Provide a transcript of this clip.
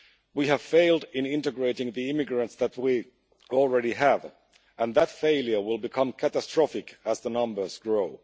We have failed in integrating the immigrants that we already have, and that failure will become catastrophic as the numbers grow.